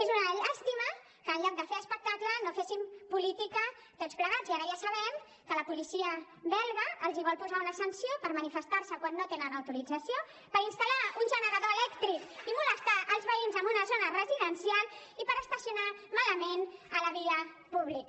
és una llàstima que en lloc de fer espectacle no féssim política tots plegats i ara ja sabem que la policia belga els vol posar una sanció per manifestar se quan no tenen autorització per instal·lar un generador elèctric i molestar els veïns en una zona residencial i per estacionar malament a la via pública